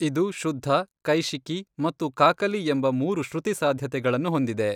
ಇದು ಶುದ್ಧ, ಕೈಷಿಕಿ ಮತ್ತು ಕಾಕಲಿ ಎಂಬ ಮೂರು ಶ್ರುತಿ ಸಾಧ್ಯತೆಗಳನ್ನು ಹೊಂದಿದೆ.